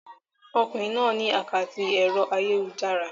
Ọkùnrin náà ní àkátì ẹ̀rọ ayélujára.